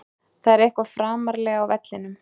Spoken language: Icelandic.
Það er eitthvað framarlega á vellinum.